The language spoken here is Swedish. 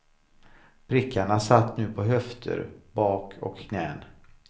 Prickarna satt nu på höfter, bak och knän.